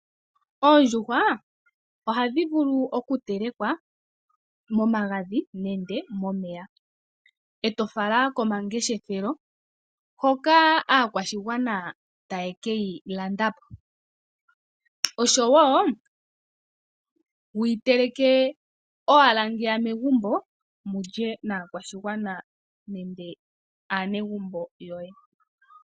Oondjuhwa ohadhi vulu oku telekwa momagadhi nenge momeya, eto fala komangeshefelo hoka aakwashigwana taye ke yi landa po, oshowo wuyi teleke owala ngeya megumbo mulye naakwashigwana nenge aanegumbo yoye.